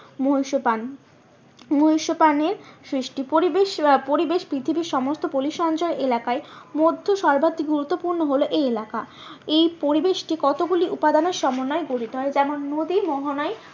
মহীসোপান, মহীসোপানে সৃষ্টি পরিবেশ, পরিবেশ পৃথিবীর সমস্ত পলি সঞ্চয় এলাকায় মধ্য গুরুত্বপূর্ণ হলো এই এলাকা এই পরিবেশকে কতগুলি উপাদানের সমন্বয়ে গঠিত হয় যেমন নদী মোহনায়